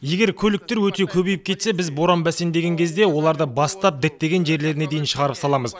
егер көліктер өте көбейіп кетсе біз боран бәсеңдеген кезде оларды бастап діттеген жерлеріне дейін шығарып саламыз